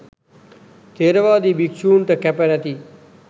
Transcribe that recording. ථෙරවාදී භික්‍ෂුන්ට කැප නැති